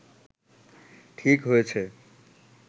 ঠিক হয়েছে